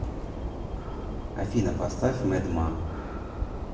афина поставь мэд ма